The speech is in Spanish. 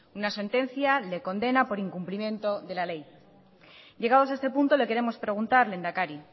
una sentencia le condena por incumplimiento de la ley llegados a este punto le queremos preguntar lehendakari